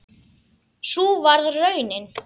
Sú varð raunin.